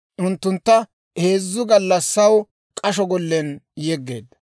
Unttuntta heezzu gallassaw k'asho gollen yeggeedda.